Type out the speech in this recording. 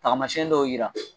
Tagamasɛn dɔw yira